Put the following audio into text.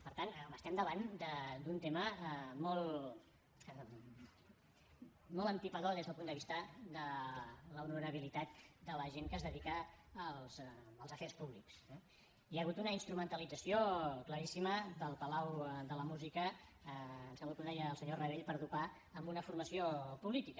per tant home estem davant d’un tema molt empipador des del punt de vista de l’honorabilitat de la gent que es dedica als afers públics eh hi ha hagut una instrumentalització claríssima del palau de la música em sembla que ho deia el senyor rabell per dopar una formació política